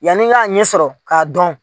Yanni n k'a ɲɛ sɔrɔ k'a dɔn